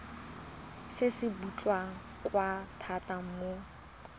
se se botlhokwa thata mo